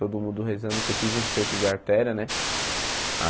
Todo mundo rezando que eu fiz enxerto de artéria né.